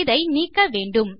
இதை நீக்க வேண்டும்